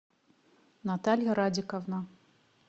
наталья радиковна